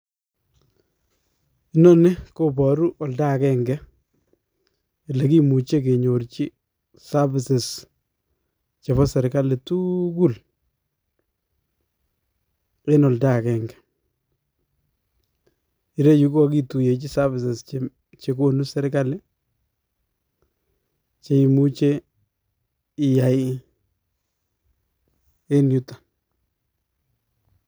Noni koboru oldo akeng'e elekimuche kenyorchi services chebo serikali tuukul en oldo akeng'e ireyu kokokituyechi services chekonu serikali cheimuche iyai en yuton